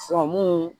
mun